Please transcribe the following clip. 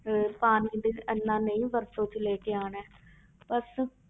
ਅਹ ਪਾਣੀ ਵੀ ਇੰਨਾ ਨਹੀਂ ਵਰਤੋਂ 'ਚ ਲੈ ਕੇ ਆਉਣਾ ਹੈ ਬਸ